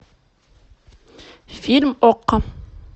фильм окко